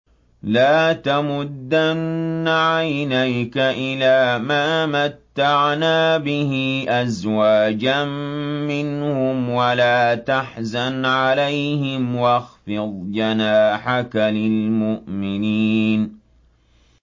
لَا تَمُدَّنَّ عَيْنَيْكَ إِلَىٰ مَا مَتَّعْنَا بِهِ أَزْوَاجًا مِّنْهُمْ وَلَا تَحْزَنْ عَلَيْهِمْ وَاخْفِضْ جَنَاحَكَ لِلْمُؤْمِنِينَ